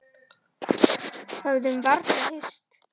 Höfðum varla hist.